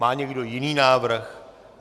Má někdo jiný návrh?